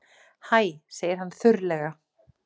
Hæ, segir hann þurrlega.